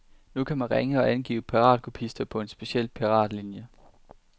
Nu kan man ringe og angive piratkopister på en speciel piratlinie.